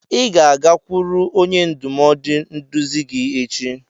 Ị ga-agakwuru onye ndụmọdụ nduzi gị echi!